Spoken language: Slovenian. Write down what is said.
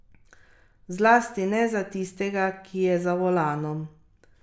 Zlasti ne za tistega, ki je za volanom.